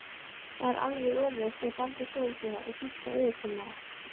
Það var alveg öfugt með Baldur skólastjóra og Gísla yfirkennara.